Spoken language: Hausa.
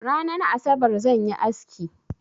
Ranan Asabar zan yi aski.